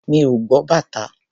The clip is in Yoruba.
Mi ò gbọ́ bàtá.